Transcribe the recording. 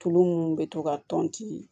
Tulu munnu bɛ to ka tɔnti